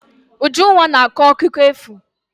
Ujunwa na-akọ akụkọ efu.